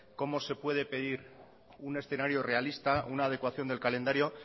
cómo se puede pedir un escenario realista una adecuación del calendario